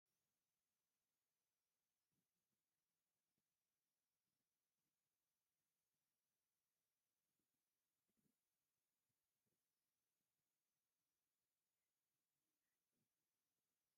እዚ ናይ ተፈጥሮ ተክሊ ኮይኑ እዚ ተክሊ እዚ ድማ ዕረ ይበሃል። እዚ ዕረ እዚ ድማ ንዝተፈላለዩ መድሓኒታትን ንዝተፈላለዩ ቅብኣታትን ንጥቀመሉ ኢና። እዚ ናይ ተፈጥሮ ተክሊ እዩ።